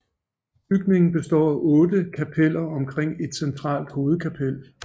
Bygningen består af otte kapeller omkring et centralt hovedkapel